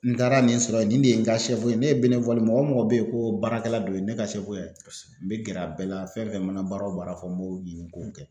N taara nin sɔrɔ yen nin de ye n ka ye ne ye mɔgɔ o mɔgɔ mɔgɔ be ye ko baarakɛla dɔ ye ne ka sɛfo ye n bɛ gɛrɛ a bɛɛ la fɛn fɛn mana baara o baara fɔ n b'o ɲini k'o kɛ